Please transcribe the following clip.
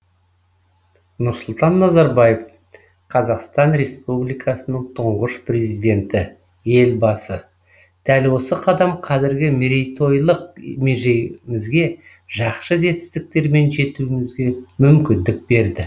нұрсұлтан назарбаев қазақстан республикасының тұңғыш президенті елбасы дәл осы қадам қазіргі мерейтойлық межемізге жақсы жетістіктермен жетуімізге мүмкіндік берді